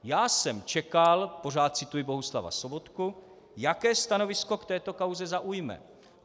Já jsem čekal," pořád cituji Bohuslava Sobotku, "jaké stanovisko k této kauze zaujme.